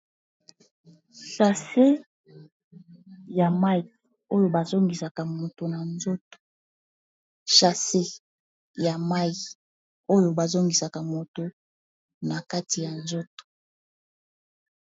Shase ya mayi oyo bazongisaka moto na nzoto shase ya mai oyo bazongisaka moto na kati ya nzoto.